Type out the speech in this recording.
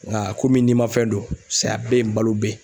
Nka komi nimafɛn don, saya bɛ ye balo bɛ ye